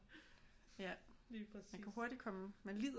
Ja man kan hurtigt komme man lider